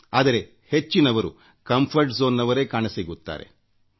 ಆದರೆ ಹೆಚ್ಚಿನವರು ಕಂಫರ್ಟ್ zoneಸಿಂಡ್ರೋಮ್ನಲ್ಲೇ ಕಾಣಸಿಗುತ್ತಾರೆ